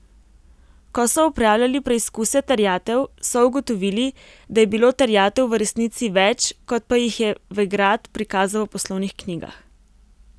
Ko so opravljali preizkuse terjatev, so ugotovili, da je bilo terjatev v resnici več, kot pa jih je Vegrad prikazal v poslovnih knjigah.